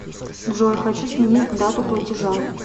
джой хочу сменить дату платежа